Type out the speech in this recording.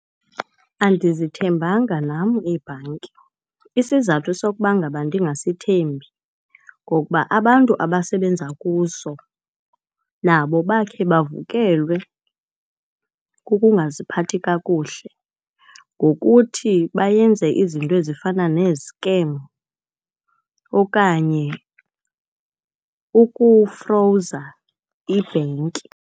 Andizithembanga nam iibhanki. Isizathu sokuba ngaba ndingasithembi ngokuba abantu abasebenza kuso nabo bakhe bavukelwe kukungaziphathi kakuhle ngokuthi bayenze izinto ezifana nezikemu okanye ukufrowuza ibhenki.